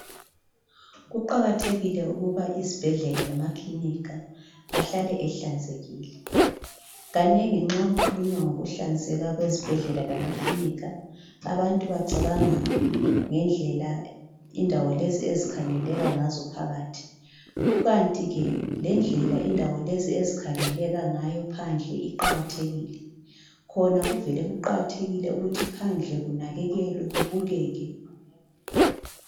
Kuqakathekile ukuba izibhedlela lamaklinika ahlale ehlanzekile kanengi nxa kukhulunywa ngokuhlanzeka kwezibhedlela lamaklinika abantu bacabanga ngendlela indawo lezi ezikhangeleka ngazo phakathi , kukanti ke lendlela indawo lezi ezikhangeleka ngayo phandle iqakathekile , khona kuvele kuqakathekile ukuthi phandle kunakakelwe kubukeke